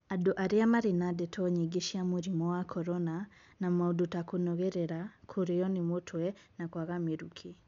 Andũ arĩa marĩ na ndeto nyingĩ cia mũrimũ wa Korona na maũndũ ta kũnogerera, kũrĩo nĩ mũtwe na kũaga mĩrũkĩ.